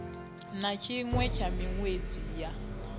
na tshiṅwe tsha miṅwedzi ya